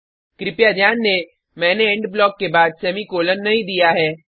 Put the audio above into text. कृपया ध्यान दें मैंने इंड ब्लॉक के बाद सेमीकॉलन नहीं दिया है